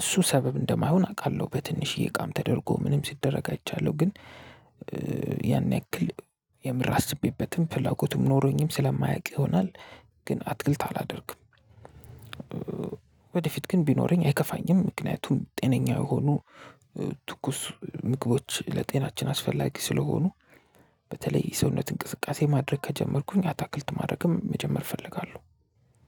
እሱ ሰበብ እንደማይሆን አውቃለሁ በትንሽዬ እቃም ተደርጎ ምንም ሲደረግ አይቻለሁ ግን ያን ያክል የምር አስቤበትም ፍላጎቱም ኖሮኝም ስለማያውቅ ይሆናል። ግን አትክልት አላደርግም ወደፊት ግን ቢኖረኝ አይከፋኝም ምክንያቱም ጤነኛ የሆኑ ትኩስ ምግቦች ለጤናችን አስፈላጊ ስለሆኑ በተለይ ሰውነት እንቅስቃሴ ማድረግ ከጀመርኩኝ አታክልት ማድረግም መጀመር እፈልጋለሁ።